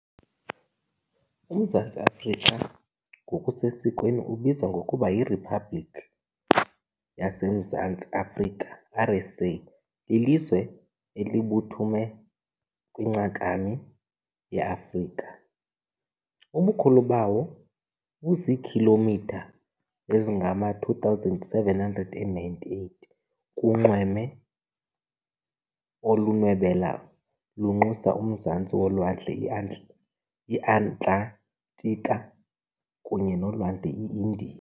UMzantsi Afrika, ngokusesikweni ubizwa ngokuba yirhiphabhlikhi yaseMzantsi Afrika, RSA, lilizwe elibuthume kwincakami yeAfrika. Ubukhulu bawo buziikhilomitha ezingama-2,798 kunxweme olunwebela lunxusa umzantsi wolwandle iAtlantika kunye nolwandle iIndiya.